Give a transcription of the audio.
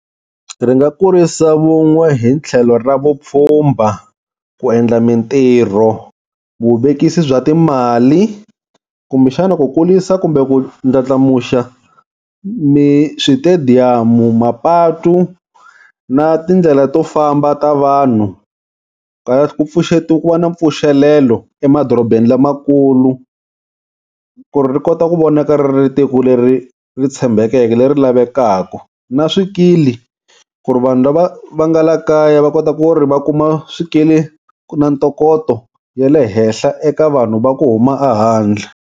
Ri nga kurisa vun'we hi tlhelo ra vupfhumba ku endla mintirho, vuvekisi bya timali, kumbe xana ku kulisa kumbe ku ndlandlamuxa ni switediyamu, mapatu na tindlela to famba ta vanhu ku pfuxetiwa ku na mpfuxelelo emadorobeni lamakulu, ku ri ri kota ku vonaka ri ri tiko leri ri tshembekeke leri lavekaka, na swikili ku ri vanhu lava va nga la kaya va kota ku ri va kuma swikili ku na ntokoto ya le henhla eka vanhu va ku huma a handle.